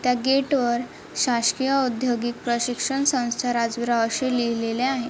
त्या गेटवर शासकीय औद्योगिक प्रशिक्षण संस्था राजवीर अशे लिहलेले आहे.